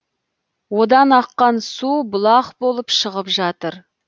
одан аққан су бұлақ болып шығып жатыр